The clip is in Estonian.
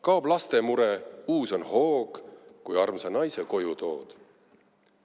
Kaob lastemure, uus on hoog, kui armsa naise koju tood.